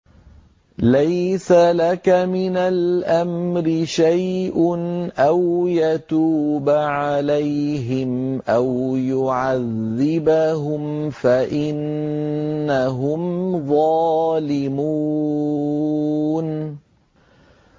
لَيْسَ لَكَ مِنَ الْأَمْرِ شَيْءٌ أَوْ يَتُوبَ عَلَيْهِمْ أَوْ يُعَذِّبَهُمْ فَإِنَّهُمْ ظَالِمُونَ